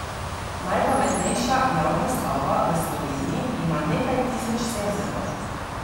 Najpametnejša javna stavba v Sloveniji ima nekaj tisoč senzorjev.